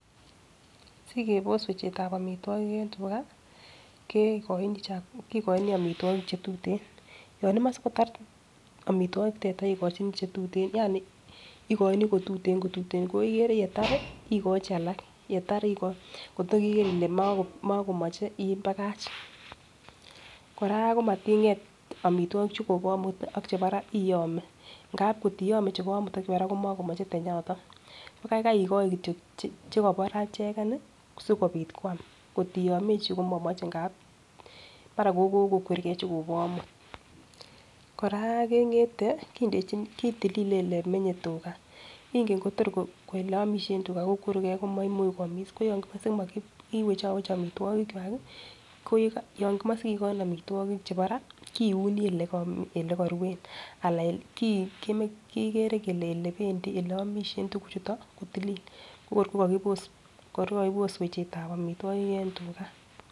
Sikebos wechetab omitwokik en tugaa kekoini chak kokoin omitwokik chetuten. Yon imoi sikotar omitwokik tata ikochini chetuten yani ikoini kotuten kotuten ko ikere yetari ikochi alak yetar ikoi kor iker Ile mokimoche ibakach. Koraa komatinget omitwokik chekobo omut ak chebo raa iyome ngap kotiyome chebo omut ak chebo raa komokomoche tenyaton ko kaikai ikoi kityok chekobo raa icheken nii sikopit kwam kotiyomechi komomoche ngap mara ko kokokwergee chukobo omut. Koraa kengete kindechini kitulile olemenye tugaa nken Kotor oleomishen tugaa kokwerugee komoimuch kwomiss ko yon kikose mokiwechowech omitwokik kwak kii ko yeka yon komoche sikikoin omitwokik chebo raa kouni oleko olekoruen alan ole ki kokere kele ole omishen tukuk chuton kotilil ko kor komokinoe wechetab omitwokik en tugaa.